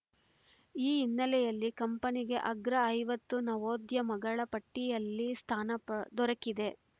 ಈ ಹಿನ್ನೆಲೆಯಲ್ಲಿ ಕಂಪನಿಗೆ ಅಗ್ರ ಐವತ್ತು ನವೋದ್ಯಮಗಳ ಪಟ್ಟಿಯಲ್ಲಿ ಸ್ಥಾನ ಪ ದೊರಕಿದೆ